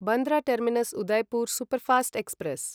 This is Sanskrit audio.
Bandra terminus Udaipur superfast express